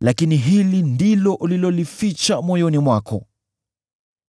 “Lakini hili ndilo ulilolificha moyoni mwako,